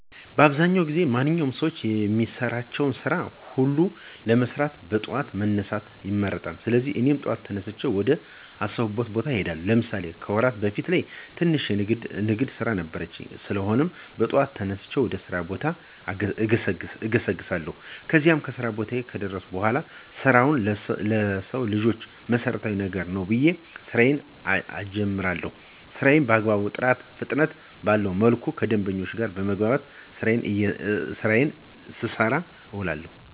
በአብዛዉ ጊዜ ማንኛዉም ሰዉ የሚሰራቸዉን ስራ ሁሉ ለመስራት በጠዋት መነሳትን ይመርጣል: ስለሆነም, እኔ በጠዋት ተነስቼ ወደ አሰብኩት ቦታ እሄዳለሁ። ለምሳሌ፦ ከወራት በፊት ትንሽ የንግድ ስራ ነበረችኝ? ስለሆነም, በጠዋት ተነስቼ ወደ ስራ ቦታዬ እገሰግሳለሁ። ከዚያም, ከስራ ቦታየ ከደረስኩ በኋላ ስራ ለሰዉ ልጅ መሰረታዊ ነገር ነዉ ብየ ስራየን እጀምራለሁ። ስራየንም በአግባቡ ጥራትና ፍጥነት ባለዉ መልኩ ከደንበኞቼ ጋር በመግባባት ስራየን ስሰራ እዉላለሁ።